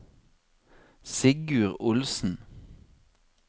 Sigurd Olsen